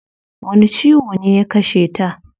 Wani ciwo ne ya kasheta?